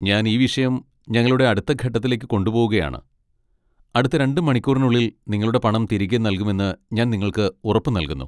ഞാൻ ഈ വിഷയം ഞങ്ങളുടെ അടുത്ത ഘട്ടത്തിലേക്ക് കൊണ്ടുപോകുകയാണ്, അടുത്ത രണ്ട് മണിക്കൂറിനുള്ളിൽ നിങ്ങളുടെ പണം തിരികെ നൽകുമെന്ന് ഞാൻ നിങ്ങൾക്ക് ഉറപ്പ് നൽകുന്നു.